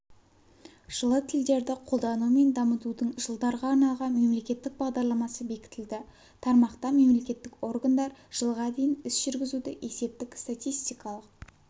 жылы тілдерді қолдану мен дамытудың жылдарға арналған мемлекеттік бағдарламасы бекітілді тармақта мемлекеттік органдар жылға дейін іс-жүргізуді есептік-статистикалық